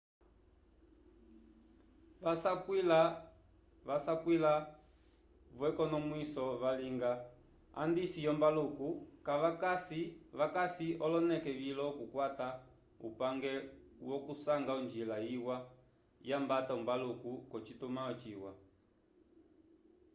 vasapwila-vo k'ekonomwiso valinga andisi yombaluku vakasi oloneke vilo okukwata upange wokusanga onjila yiwa yambata ombaluku k'ocitumãlo ciwa